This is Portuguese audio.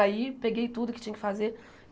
Aí peguei tudo que tinha que fazer.